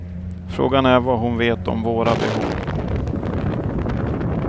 Frågan är vad hon vet om våra behov.